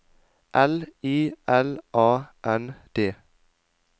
L I L A N D